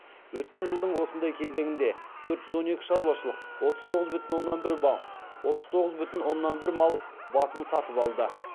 өткен жылдың осындай кезеңінде төрт жүз он екі шаруашылық отыз тоғыз бүтін оннан бір мал басын сатып алды